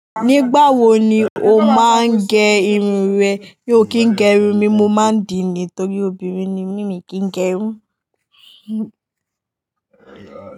Nígbà wo ni o máa ń gẹ irun rẹ? Mí o kì ń gẹ̀ irun mi, mo máa ń dìní torí obìnrin ni mí mi kì í gẹ irun.